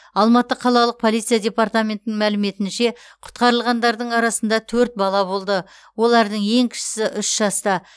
алматы қалалық полиция департаментінің мәліметінше құтқарылғандардың арасында төрт бала болды олардың ең кішісі үш жаста